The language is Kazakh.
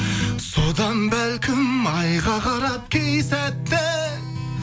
содан бәлкім айға қарап кей сәтте